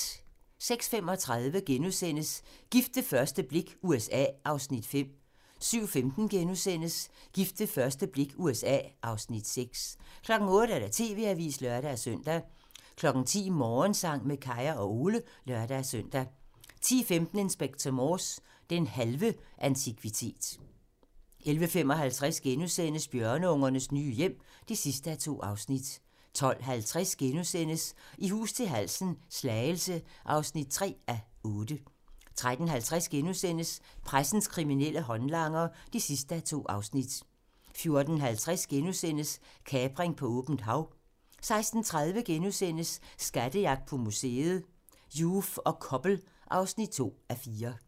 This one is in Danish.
06:35: Gift ved første blik - USA (Afs. 5)* 07:15: Gift ved første blik - USA (Afs. 6)* 08:00: TV-avisen (lør-søn) 10:00: Morgensang med Kaya og Ole (lør-søn) 10:15: Inspector Morse: Den halve antikvitet 11:55: Bjørneungernes nye hjem (2:2)* 12:50: I hus til halsen - Slagelse (3:8)* 13:50: Pressens kriminelle håndlanger (2:2)* 14:50: Kapring på åbent hav * 16:30: Skattejagt på museet: Joof og Koppel (2:4)*